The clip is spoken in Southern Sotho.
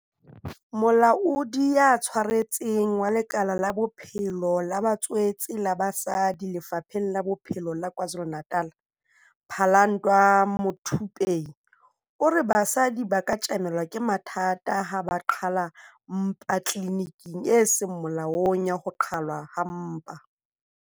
Molaodi ya Tshwaretseng wa lekala la Bophelo ba Batswetse la basadi Lefapheng la Bophelo la KwaZulu-Natal, Phalanndwa Muthupei, o re basadi ba ka tjamelana le mathata ha ba qhala mpa tliliniking e seng molaong ya ho qhalwa ha mpa.